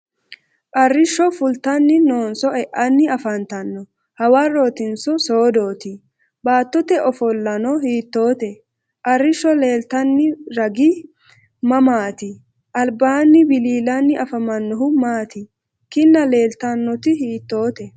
Arrishsho fultanni noonso e'anni afantanno? Hawarrootinso soodooti? Baattote ofollano hiittoote? Arrishsho leeltanni ragai mamaati? Albaanni wiliilanni afamannohu maati? Kinna leeltannoti hiittoote?